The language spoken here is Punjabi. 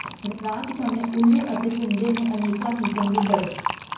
ਰਾਤ ਸਮੇਂ ਉੱਲੂ ਅਤੇ ਘੁੰਮਦੇ ਨੇ ਅਨੇਕਾਂ ਹੀ ਚਮਗਿੱਦੜ